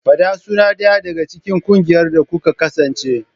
Fada sunan ɗaya daga cikin ƙungiyar da kuka kasance.